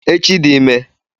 Echi dị ime